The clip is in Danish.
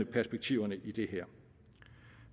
perspektiverne i det her